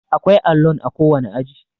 akwai allon a kowane aji